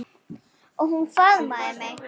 Og hún faðmaði mig.